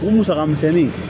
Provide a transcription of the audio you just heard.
O musaka misɛnnin